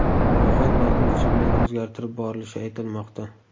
Ro‘yxat vaqt o‘tishi bilan o‘zgartirib borilishi aytilmoqda.